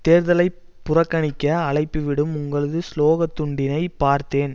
தேர்தலை புறக்கணிக்க அழைப்பு விடும் உங்களது சுலோகத் துண்டினை பார்த்தேன்